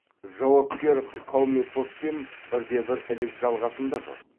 жауапкер қаумепоппен бірде бір ілік жалғасым да жоқ